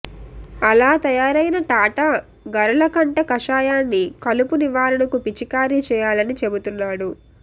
అలా తయారైన టాటా గరళకంఠ కషాయాన్ని కలుపు నివారణకు పిచికారీ చేయాలని చెబుతున్నాడు